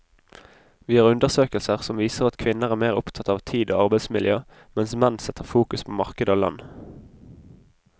Vi har undersøkelser som viser at kvinner er mer opptatt av tid og arbeidsmiljø, mens menn setter fokus på marked og lønn.